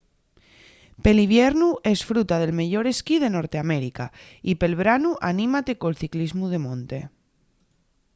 pel iviernu esfruta del meyor esquí de norteamérica y pel branu anímate col ciclismu de monte